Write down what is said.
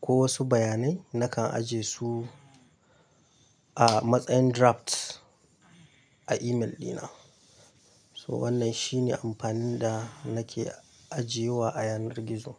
ko wasu bayanai, nakan aje su a matsayin drafts, a email dina. So wannan shine amfanin da, nake ajiyewa a yanar gizo.